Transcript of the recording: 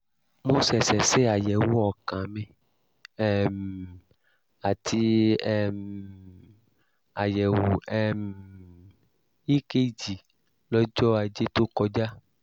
mo ṣẹ̀ṣẹ̀ ṣe àyẹ̀wò ọkàn mi um àti um àyẹ̀wò um ekg lọ́jọ́ ajé tó kọjá